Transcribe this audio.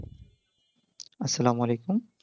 আসসালামু আলাইকুম